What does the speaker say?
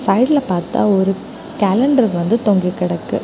சைடுல பாத்தா ஒரு கேலண்டர் வந்து தொங்கி கெடக்கு.